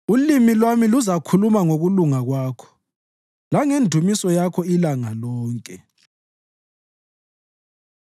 Ulimi lwami luzakhuluma ngokulunga Kwakho langendumiso Yakho ilanga lonke.